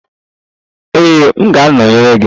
Ee, m ga-anọnyere gị.